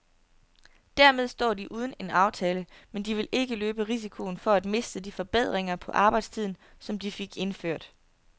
Dermed står de uden en aftale, men de vil ikke løbe risikoen for at miste de forbedringer på arbejdstiden, som de fik indført.